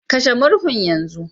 Kashe murhun yanzu